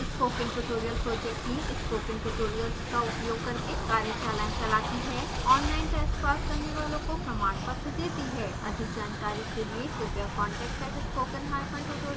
spoken tutorial project team: spoken tutorials का उपयोग करके कार्यशालाएं चलाती